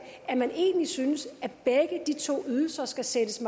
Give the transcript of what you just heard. at man egentlig synes at begge de to ydelser skal sættes